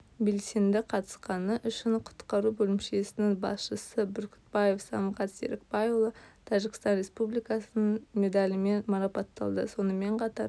белсенді қатысқаны үшін құтқару бөлімшесінің басшысы бүркітбаев самғат серікбайұлы тәжікстан республикасының медалімен марапатталды сонымен қатар